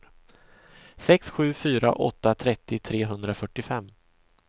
sex sju fyra åtta trettio trehundrafyrtiofem